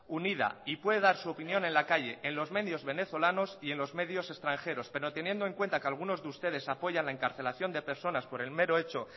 unida y puede dar su opinión en la calle en los medios venezolanos y en los medios extranjeros pero teniendo en cuenta que algunos de ustedes apoyan la encarcelación de personas por el mero hecho